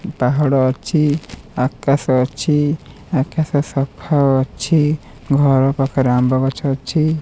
ପାହାଡ ଅଛି ଆକାଶ ଅଛି ଆକାଶ ସଫା ଅଛି ଘର ପାଖରେ ଆମ୍ୱ ଗଛ ଅଛି।